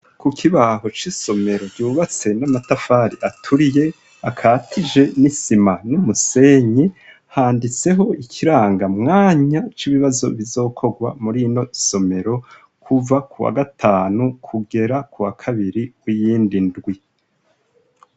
Kukibaho c'isomero ryubatse n'amatafari aturiye akatiye n'isima n'umusenyi handitseho ikiranga mwanya c'ibibazo bizokorwa mur'inosomero kuva k'uwagatanu kugera k'uwakabiri w'iyind'indwi.